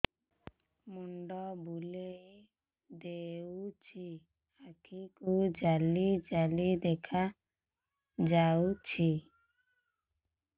ମୁଣ୍ଡ ବୁଲେଇ ଦେଉଛି ଆଖି କୁ ଜାଲି ଜାଲି ଦେଖା ଯାଉଛି